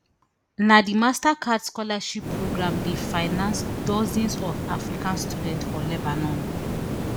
na di mastercard scholarship program dey finance dozens of african students for lebanon